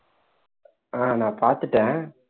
ஆஹ் நான் பாத்துட்டேன்